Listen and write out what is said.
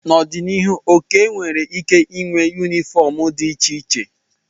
N'ọdịnihu, Okey nwere ike ịnwe yunifọọm dị iche iche.